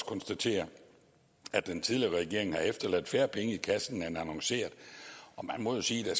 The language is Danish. konstatere at den tidligere regering har efterladt færre penge i kassen end annonceret og man må jo sige at